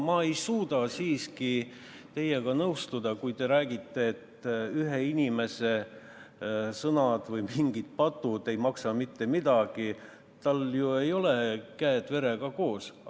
Ma ei suuda siiski teiega nõustuda, kui te räägite, et ühe inimese sõnad või mingid patud ei maksa mitte midagi, tal ju ei ole käed verega koos.